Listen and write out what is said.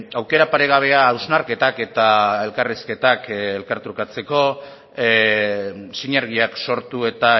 aukera paregabea hausnarketak eta elkarrizketak elkartrukatzeko sinergiak sortu eta